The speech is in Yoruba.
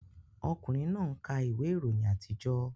Ọkùnrin náà ń ka ìwé ìròyìn àtijọ́